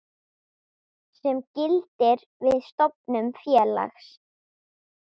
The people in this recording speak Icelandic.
sem gildir við stofnun félags.